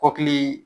Kɔkili